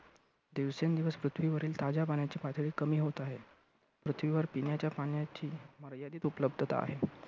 दिवसेंदिवस पृथ्वीवरील ताज्या पाण्याची पातळी कमी होत आहे. पृथ्वीवर पिण्याच्या पाण्याची मर्यादित उपलब्धता आहे.